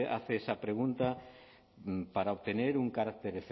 hace esa pregunta para obtener un carácter